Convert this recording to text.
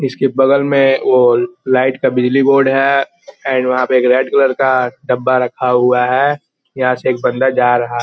इसके बगल मे वो लाइट का बिजली बोर्ड है एंड वहां पे रेड कलर का डब्बा रखा हुआ है। यहाँ से एक बंदा जा रहा --